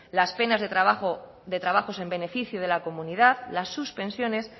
las penas de trabajos en beneficio de la comunidad las suspensiones